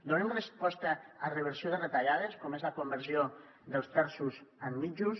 donem resposta a reversió de retallades com és la conversió dels terços en mitjos